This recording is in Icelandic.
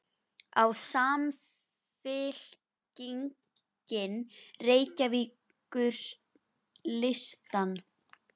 Á Samfylkingin Reykjavíkurlistann?